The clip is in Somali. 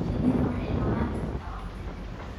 Shinnidu waxay noolaan kartaa waqti dheer.